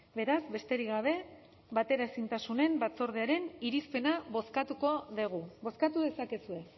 beraz besterik gabe bateraezintasunen batzordearen irizpena bozkatuko dugu bozkatu dezakezue